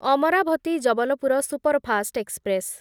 Amravati Jabalpur superfast express